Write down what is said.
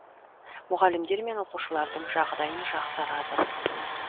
мұғалімдер мен оқушылардың жағдайын жақсарады